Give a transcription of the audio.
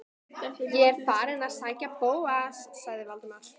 Ég er þá farinn inn að sækja Bóas- sagði Valdimar.